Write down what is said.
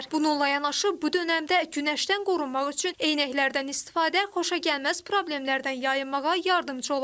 Bununla yanaşı, bu dönəmdə günəşdən qorunmaq üçün eynəklərdən istifadə xoşagəlməz problemlərdən yayınmağa köməkçi ola bilər.